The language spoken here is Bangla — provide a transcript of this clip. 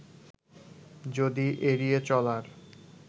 যদি এড়িয়ে চলার